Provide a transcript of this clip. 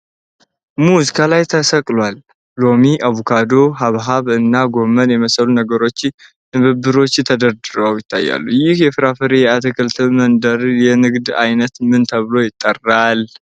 ሙዝ ከላይ ተሰቅሏል፤ ሎሚ፣ አቮካዶ፣ ሐብሐብ እና ጎመን የመሰሉ ነገሮች በንብርብሮች ተደርድረው ይታያሉ። ይህ የፍራፍሬና የአትክልት መደርደር የንግድ ዓይነት ምን ተብሎ ይጠራል?